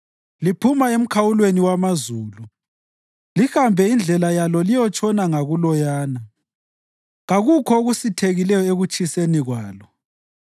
Liphuma emkhawulweni wamazulu lihambe indlela yalo liyotshona ngakuloyana; kakukho okusithekileyo ekutshiseni kwalo.